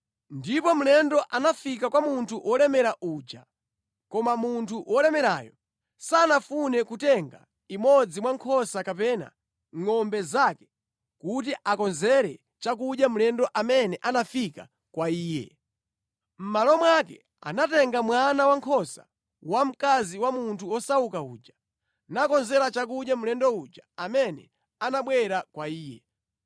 “Ndipo mlendo anafika kwa munthu wolemera uja, koma munthu wolemerayo sanafune kutenga imodzi mwa nkhosa kapena ngʼombe zake kuti akonzere chakudya mlendo amene anafika kwa iye. Mʼmalo mwake anatenga mwana wankhosa wamkazi wa munthu wosauka uja nakonzera chakudya mlendo uja amene anabwera kwa iye.”